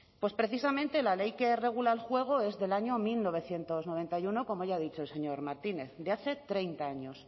pues precisamente la ley que regula el juego es del año mil novecientos noventa y uno como ya ha dicho el señor martínez de hace treinta años